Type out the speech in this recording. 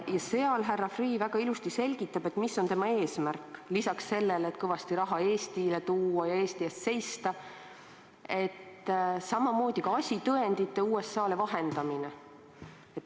Seal selgitab härra Freeh väga ilusasti, mis on tema eesmärk: lisaks sellele, et Eestile kõvasti raha tuua ja Eesti eest seista, on tema ülesandeks ka asitõendeid USA-le vahendada.